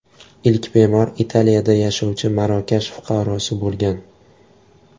Ilk bemor Italiyada yashovchi Marokash fuqarosi bo‘lgan.